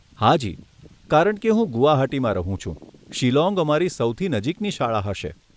હાજી, કારણકે હું ગુવાહાટીમાં રહું છું, શિલોંગ અમારી સૌથી નજીકની શાળા હશે.